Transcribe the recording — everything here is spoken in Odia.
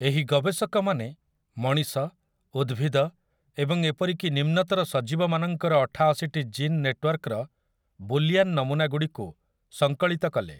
ଏହି ଗବେଷକମାନେ ମଣିଷ, ଉଦ୍ଭିଦ ଏବଂ ଏପରିକି ନିମ୍ନତର ସଜୀବମାନଙ୍କର ଅଠାଅଶିଟି ଜିନ୍ ନେଟୱର୍କର ବୂଲିଆନ୍ ନମୁନାଗୁଡ଼ିକୁ ସଂକଳିତ କଲେ ।